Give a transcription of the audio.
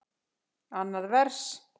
Annað vers.